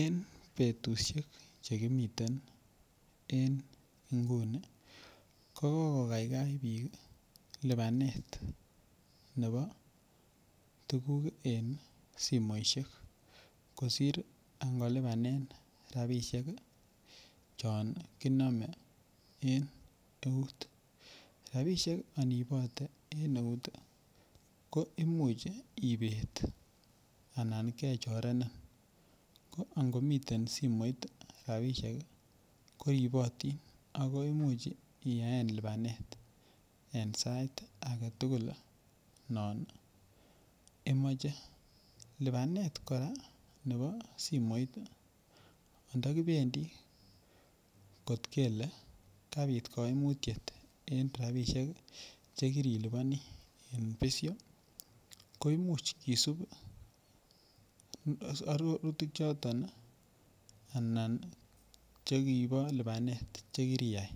En betushek che kimiten en ngunii ko kogogaigai biik ii lipanet nebo tuguk en simoishek kosir ango lipanen rabishek chon konome en eut. Rabishek ani ibote en neut ii ko imuch ibet anan kechorenin ko ango miten simoit rabishek ko ribotin ako imuch iyaen lipanet en sait agetugul non imoche. Lipanet Koraa nebo simoit ii onto kibendi kot kelee kapit koimutiet en rabishek che kiriliponi en besyo ko imuch kisub arorutik choton ii anan chekibo lipanet ne kiriyay